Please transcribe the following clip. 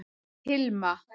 Hilma